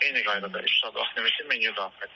Eyni qaydada üç saat vaxt limiti menyu daxil.